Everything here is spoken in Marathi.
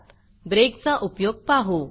breakब्रेक चा उपयोग पाहू